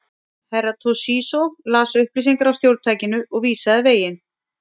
Herra Toshizo las upplýsingar af stjórntækinu og vísaði veginn.